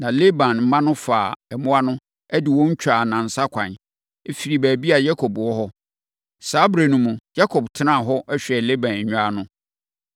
Na Laban mma no faa mmoa no, de wɔn twaa nnansa ɛkwan, firii baabi a na Yakob wɔ hɔ. Saa ɛberɛ no mu, Yakob tenaa hɔ, hwɛɛ Laban nnwan no.